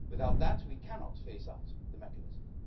Without that, we cannot phase out the mechanism.